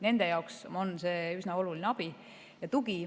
Nende jaoks on see üsna oluline abi ja tugi.